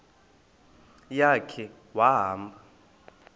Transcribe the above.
ya khe wahamba